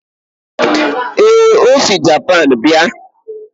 ee, o si Japan bịa